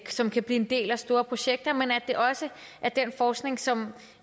som kan blive en del af store projekter men at det også er den forskning som